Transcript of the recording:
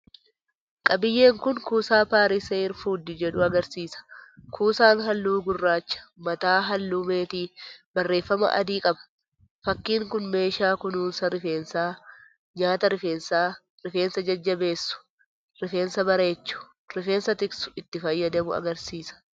Qabiyyeen kun kuusaa “PARIS HAIR FOOD” jedhu agarsiisa. Kuusaan halluu gurraacha, mataa halluu meetii, barreeffama adii qaba. Fakkii kun meeshaa kunuunsa rifeensaa, nyaata rifeensaa, rifeensa jajjabeessu, rifeensa bareechu, rifeensa tiksu itti fayyadamu agarsiisa.